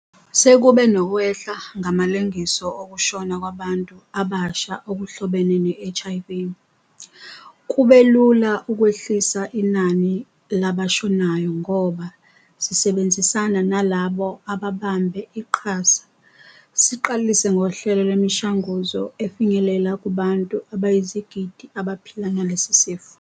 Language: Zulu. Sekube nokwehla ngamalengiso ukushona kwabantu abasha okuhlobene ne-HIV. Kube lula ukwehlisa inani labashonayo ngoba, sisebenzisana nalabo ababambe iqhaza, siqalise ngohlelo lwemishanguzo efinyelela kubantu abayizigidi abaphila nalesi sifo.